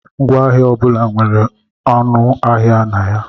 Ngwaahịa ọ bụla nwere ọnụ ahịa na ya.